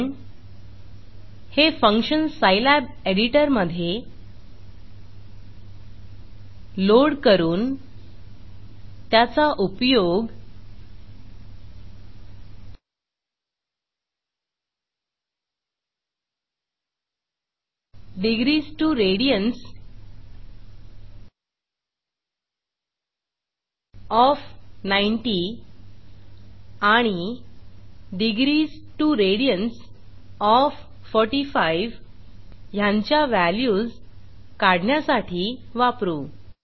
आपण हे function Scilab editor मधे लोड करून त्याचा उपयोग degrees2रेडियन्स ओएफ 90 आणि degrees2रेडियन्स ओएफ 45 ह्यांच्या व्हॅल्यूज काढण्यासाठी वापरू